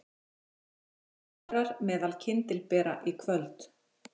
Sex ráðherrar meðal kyndilbera í kvöld